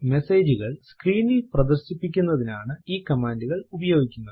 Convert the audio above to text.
മെസേജുകൾ സ്ക്രീനിൽ പ്രദർശിപ്പിക്കുന്നതിനാണ് ഈ കമാൻഡ് ഉപയോഗിക്കുന്നത്